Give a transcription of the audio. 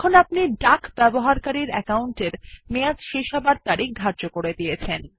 এখন আপনি user account duck এর মেয়াদ শেষ হওয়ার তারিখ ধার্য করে দিয়েছেন